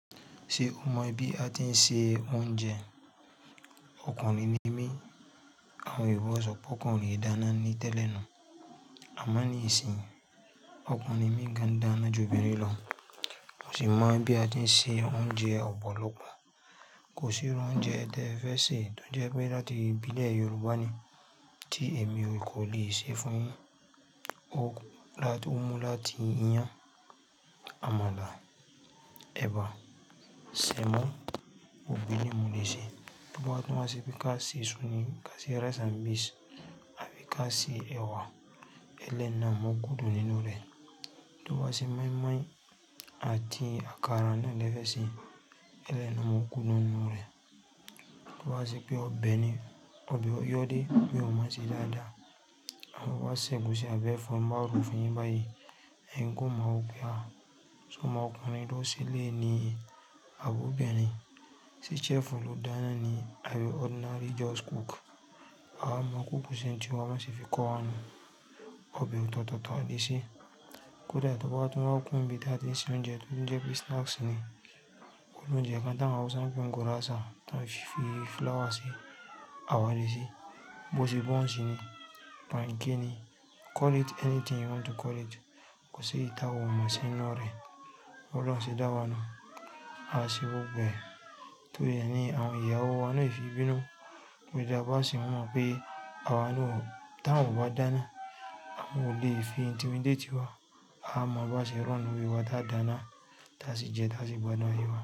Ṣé o mọ̀ bí a ti ń se oúnjẹ? Ọkùnrin ni mí, àwọn Yorùbá ṣọ pé ọkùnrin e dáná ni tẹ́lẹ̀ na, àmá ní ìsìn, ọkùnrin míi gan-an dáná ju obìnrin lọ. Mo sì mọ̀ bí a ti ń se oúnjẹ ọ̀pọ̀lọpọ̀. Kò sí irú oúnjẹ tẹ ẹ fẹ́ sè tí ó jẹ́ pé láti ìbílẹ̀ Yorùbá ni tí èmi ò lè kò lè sè fún yin. Ó mú láti iyán, àmàlà, ẹ̀bà, semo, gbogbo eléyi n moleṣẹ. Tí o bá tún wa ṣe pé ká se isu ni, ká se rice and beans, àbí ká se ẹwà, ẹlẹ́yi na mo guudu nínú rẹ̀. Tí o bá ṣe moimoi àti àkàrà náà lẹ́fẹ̀ẹ́ se, ẹlẹ́yi na mo guudu nínú rẹ̀. Tí o bá ṣe pé ọbẹ̀ ni, ọbẹ̀ o yò dé mi ọ máa se dáadáa. Tin ba sẹ̀ egusí àbí ẹ̀fọ́ tin bá ro fún yìn báyìí, ẹ̀yin gan ọ mọ̀ wọ pé à se ọmọ ọkùnrin ló ṣẹ́lẹ̀yiní àbí ọbirin. Se chef olùdáná ni àbí ordinary just cook. Awa mọ̀ kúkù ṣé n tí wa bi wọn ṣe fi kọ́ wa nu. Ọbẹ̀ òtọ̀tọ̀ taníṣẹ́. Kódà tí o bá tún wáa kún ibi tí a ti ń se oúnjẹ tí ó jẹ́ pé snacks ni. Kó ni oúnjẹ kan tá ń hausa ń pe wọn gírásà tá ń fi flour sí, àwádiṣí, bó ṣe buns ni, pankéki ni, call it anything you want to call it. Kò sí èyí tàwa o mo se ńinu rẹ̀. Bi Olóhun se dá wa nu. A n ṣé gbogbo ẹ̀. Torí ẹ ni àwọn ìyàwó wa náà o fi n bínú. Kódà bá sì mọ̀ pé àwa ni o, tí àwọn ò bá dáná, àwọn ò lè fi intimidate wa. Amọ̀ bá ṣe ronú orí wa táa dáná, tá sì jẹ, tá sì gbádùn aye wá.